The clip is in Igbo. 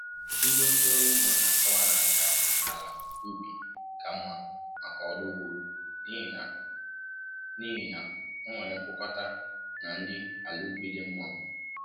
Ndị ozi ọrụ ugbo na akọwa na ájá àlà ubi ka mma maka ọrụ ugbo n'ihi na o n'ihi na o nwere mkpụkọta na nri àlà ubi dị mma